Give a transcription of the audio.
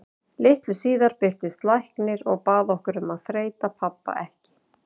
Litlu síðar birtist læknir og bað okkur um að þreyta pabba ekki.